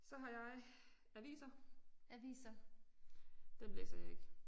Så har jeg aviser. Dem læser jeg ikke